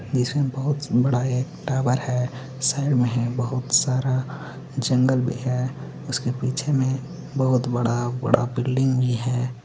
निचे बहोत बड़ा एक टावर है। साइड में है बहोत सारा जंगल भी है। उसके पीछे में बहोत बड़ा बड़ा बिल्डिंग भी है।